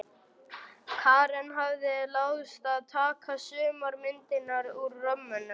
Karen hafði láðst að taka sumar myndirnar úr römmunum.